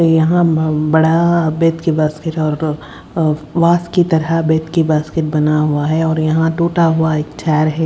यहां अम्म बड़ा तरह बना हुआ है और यहां टूटा हुआ एक है।